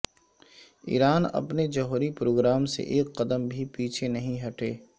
ایران اپنے جوہری پروگرام سے ایک قدم بھی پیچھے نہیں ہٹےا